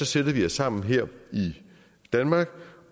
sætter vi os sammen her i danmark